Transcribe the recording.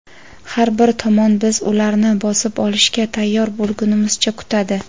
Har bir tomon biz ularni bosib olishga tayyor bo‘lgunimizcha kutadi.